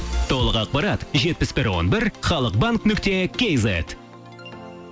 толық ақпарат жетпіс бір он бір халық банк нүкте кейзет